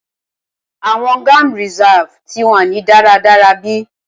Awọn gam reserve ti wa ni daradara be